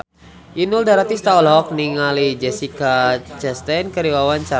Inul Daratista olohok ningali Jessica Chastain keur diwawancara